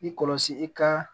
I kɔlɔsi i ka